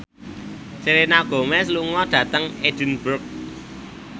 Selena Gomez lunga dhateng Edinburgh